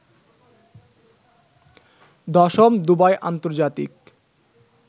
১০ম Dubai আন্তর্জাতিক